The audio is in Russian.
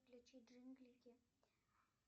включи джинглики